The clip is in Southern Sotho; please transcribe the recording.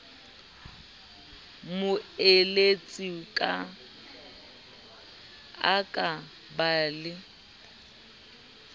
moeletsi a ka ba le